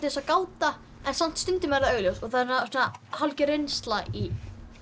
eins og gáta en stundum er það augljóst og það hálfgert innslag í málshættinum